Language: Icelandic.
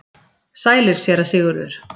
Sælir, Séra Sigurður!